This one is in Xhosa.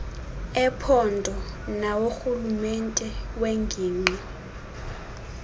ephondo naworhulumente wengingqi